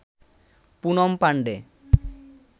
Poonam Pandey